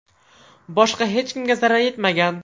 Boshqa hech kimga zarar yetmagan.